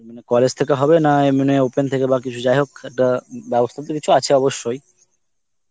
college থেকে হবে না এমনি open থেকে বা কিছু যাইহোক দা ~ বেবস্থা তো কিছু আছে অবশ্যই